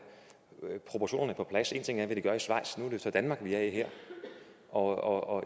proportionerne på plads en ting er hvad de gør i schweiz nu er det så danmark vi er i og